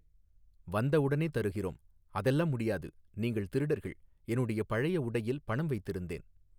வந்த உடனே தருகிறோம் அதெல்லாம் முடியாது நீங்கள் திருடர்கள் என்னுடைய பழைய உடையில் பணம் வைத்திருந்தேன்.